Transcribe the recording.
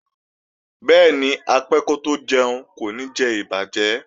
Bẹ́ẹ̀ni, apẹ́ kótó jẹun kò ní jẹ ìbàjẹ́